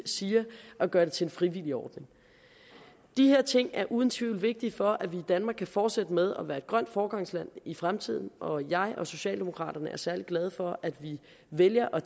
siger at gøre det til en frivillig ordning de her ting er uden tvivl vigtige for at vi i danmark kan fortsætte med at være et grønt foregangsland i fremtiden og jeg og socialdemokraterne er særlig glade for at vi vælger at